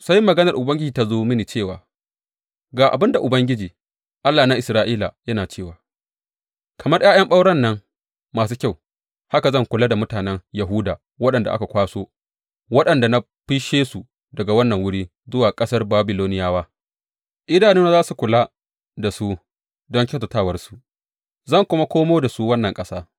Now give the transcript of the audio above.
Sai maganar Ubangiji ta zo mini cewa, Ga abin da Ubangiji, Allah na Isra’ila, yana cewa, Kamar ’ya’yan ɓauren nan masu kyau, haka zan kula da mutanen Yahuda waɗanda aka kwaso waɗanda na fisshe su daga wannan wuri zuwa ƙasar Babiloniyawa Idanuna za su kula da su don kyautatawarsu, zan kuma komo da su wannan ƙasa.